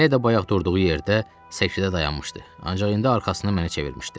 Həyə də bayaq durduğu yerdə, səkidə dayanmışdı, ancaq indi arxasını mənə çevirmişdi.